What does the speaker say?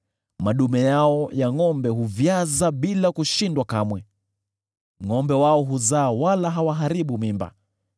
Madume yao ya ngʼombe huvyaza bila kushindwa kamwe; ngʼombe wao huzaa wala hawaharibu mimba.